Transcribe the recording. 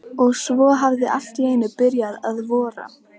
Og svo hafði allt í einu byrjað að vora.